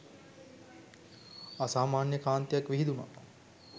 අසාමාන්‍ය කාන්තියක් විහිදුනා